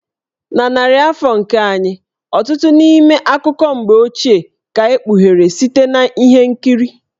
Na narị afọ nke anyị a, ọtụtụ n'ime akụkọ mgbe ochie ka e kpughere site na ihe nkiri.